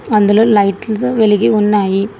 అందులో లైట్లుతో వెలిగి ఉన్నాయి.